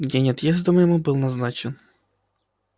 день отъезду моему был назначен